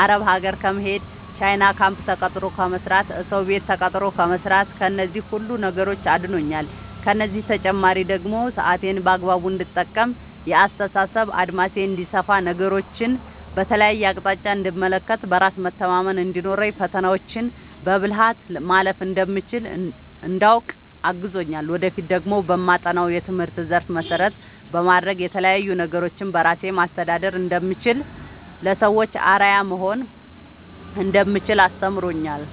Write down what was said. አረብ ሀገር ከመሄድ፣ ቻይና ካምፕ ተቀጥሮ ከመስራት፣ እሰው ቤት ተቀጥሮ ከመስራት ከነዚህ ሁሉ ነገሮች አድኖኛል። ከእነዚህ በተጨማሪ ደግሞ ሰአቴን በአግባቡ እንድጠቀም፣ የአስተሳሰብ አድማሴ እንዲሰፋ፣ ነገሮችን በተለያየ አቅጣጫ እንድመለከት፣ በራስ መተማመን እንዲኖረኝ፣ ፈተናዎችን በብልሀት ማለፍ እንደምችል እንዳውቅ አግዞኛል። ወደፊት ደግሞ በማጠናው የትምህርት ዘርፍ መሰረት በማድረግ የተለያዪ ነገሮችን በራሴ ማስተዳደር እንደምችል፣ ለሰዎች አርአያ መሆን እንደምችል አስተምሮኛል።